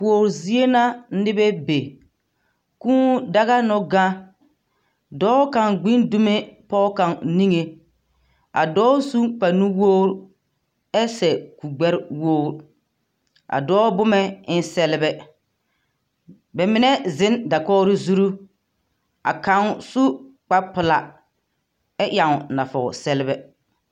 Kuor zie na nebɛ be. Kūū daga no gaŋ. Dɔɔ kaŋ gbin dumo pɛge kaŋ niŋeŋ. A dɔɔ sun kparenuwogri, ɛ toŋ kuri gbɛ wogri. A dɔɔ boma en feelɛ. Ba mine zeŋ dakogri zuur, ka kaŋ su kpare pelaa, ɛ yaŋ nɔɔte sɛlbɛ.